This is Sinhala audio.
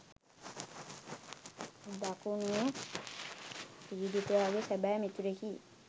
දකුණේ පීඩිතයාගේ සැබෑ මිතුරෙකි.